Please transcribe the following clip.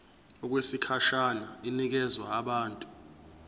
okwesikhashana inikezwa abantu